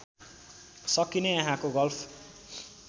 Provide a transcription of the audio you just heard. सकिने यहाँको गल्फ